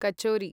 kachori